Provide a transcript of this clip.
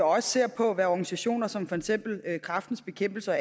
også ser på hvad organisationer som for eksempel kræftens bekæmpelse og